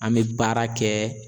An bɛ baara kɛ